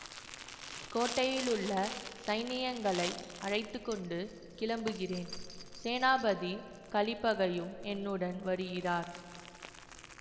கோட்டையிலுள்ள சைனியங்களை அழைத்து கொண்டு கிளம்புகிறேன் சேனாபதி கலிப்பகையும் என்னுடன் வருகிறார்